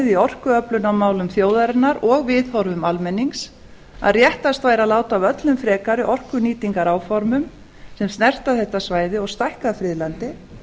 í orkuöflunarmálum þjóðarinnar og viðhorfum almennings að réttast væri að láta af öllum frekari orkunýtingaráformum sem snerta þetta svæði og stækka friðlandið